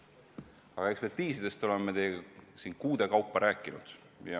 Aga ekspertiisidest oleme me teiega siin kuude kaupa rääkinud.